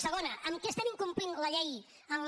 segona en què estem incomplint la llei en la